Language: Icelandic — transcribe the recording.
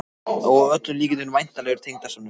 Og að öllum líkindum væntanlegur tengdasonur!